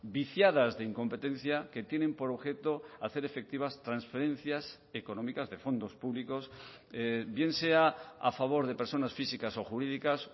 viciadas de incompetencia que tienen por objeto hacer efectivas transferencias económicas de fondos públicos bien sea a favor de personas físicas o jurídicas